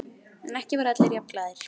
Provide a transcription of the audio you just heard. En ekki voru allir jafn glaðir.